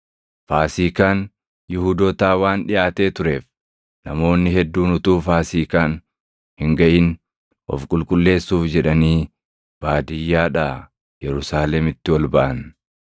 Faasiikaan Yihuudootaa waan dhiʼaatee tureef, namoonni hedduun utuu Faasiikaan hin gaʼin of qulqulleessuuf jedhanii baadiyyaadhaa Yerusaalemitti ol baʼan.